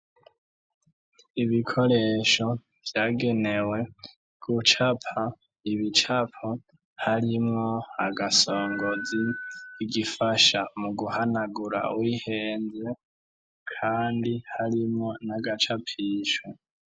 Ibikoresho vyagenewe gucapa Ibicapo, harimwo Agasongozi , Igifasha muguhanagura uwihenze, Kandi harimwo n'Agacapisho.